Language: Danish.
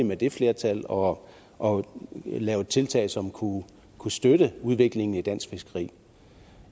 med det flertal og og lavet tiltag som kunne kunne støtte udviklingen i dansk fiskeri